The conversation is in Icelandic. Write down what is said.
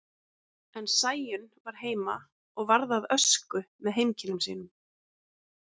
En Sæunn var heima og varð að ösku með heimkynnum sínum.